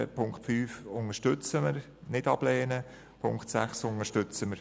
Die Punkte 5 und 6 unterstützen wir und stimmen ihnen zu.